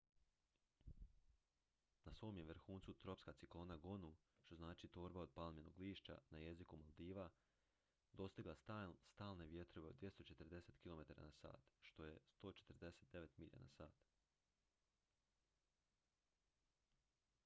"na svom je vrhuncu tropska ciklona gonu što znači "torba od palminog lišća" na jeziku maldiva dostigla stalne vjetrove od 240 kilometara na sat 149 milja na sat.